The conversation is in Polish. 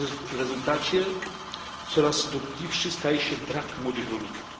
W rezultacie coraz dotkliwszy staje się brak młodych rolników.